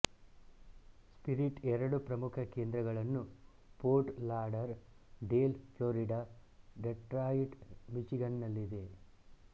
spirit ಎರಡು ಪ್ರಮುಖ ಕೇಂದ್ರಗಳನ್ನು Fort Lauderdale Florida Detroit ಮಿಚಿಗನ್ನಲ್ಲಿ ಇದೆ